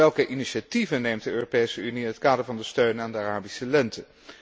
En welke initiatieven neemt de Europese Unie in het kader van de steun aan de Arabische lente?